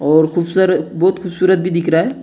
और खूब सारे बहुत खूबसूरत भी दिख रहा है।